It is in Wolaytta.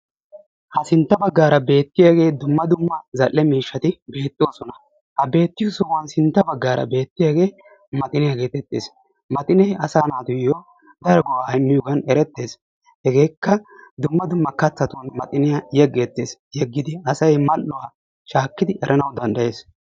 Ha sintta baggaara beetiyage dumma dumma zal'e miishshati beetosona. Ha beetiyo sohuwan sintta baggaara beetiyage maxiniyaa geetetees. Maxinee asaa naatuyo daro go'aa immiyogan eretees; hegeeka dumma dumma kattatun maxiniyaa yegetees; yeegidi asay mal'uwaashaakidi eranawu danddayees.